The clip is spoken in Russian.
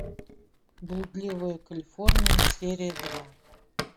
блудливая калифорния серия два